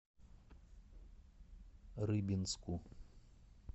рыбинску